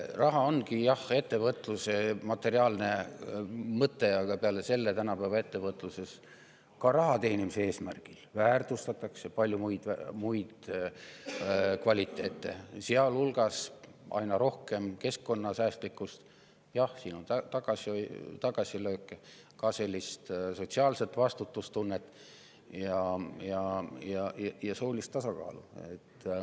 Raha ongi, jah, ettevõtluse materiaalne mõte, aga peale selle tänapäeva ettevõtluses, ka raha teenimise eesmärgil, palju muid, sealhulgas aina rohkem keskkonnasäästlikkust – jah, siin on tagasilööke –, ka sotsiaalset vastutustunnet ja soolist tasakaalu.